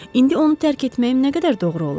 İndi onu tərk etməyim nə qədər doğru olar?